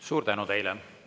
Suur tänu teile!